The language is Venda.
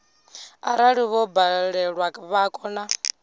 arali vho balelwa vha kona